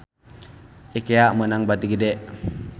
Ikea meunang bati gede